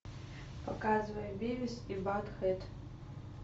показывай бивис и баттхед